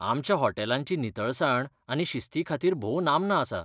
आमच्या हॉस्टेलांची नितळसाण आनी शिस्ती खातीर भोव नामना आसा.